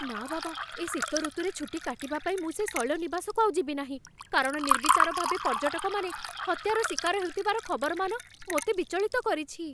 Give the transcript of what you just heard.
ନା ବାବା, ଏ ଶୀତ ଋତୁରେ ଛୁଟି କାଟିବା ପାଇଁ ମୁଁ ସେ ଶୈଳନିବାସକୁ ଆଉ ଯିବି ନାହିଁ, କାରଣ ନିର୍ବିଚାର ଭାବେ ପର୍ଯ୍ୟଟକମାନେ ହତ୍ୟାର ଶିକାର ହେଉଥିବାର ଖବରମାନ ମୋତେ ବିଚଳିତ କରିଛି।